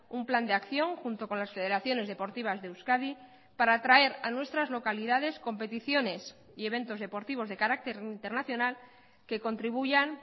un plan de acción junto con las federaciones deportivas de euskadi para traer a nuestras localidades competiciones y eventos deportivos de carácter internacional que contribuyan